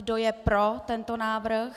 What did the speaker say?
Kdo je pro tento návrh?